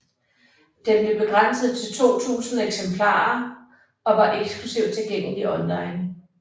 Den blev begrænset til 2000 eksemplarer og var eksklusivt tilgængelig online